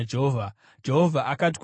Jehovha akati kuna Mozisi,